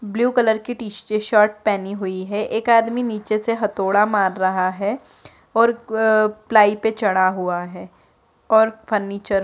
blue colour की t shirt पहनी हुई है एक आदमी नीचे से हथौड़ा मार रहा है और प्लाई पे चढ़ा हुआ है और फर्नीचर --